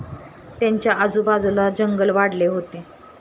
त्यांच्या आजूबाजूला जंगल वाढले होते.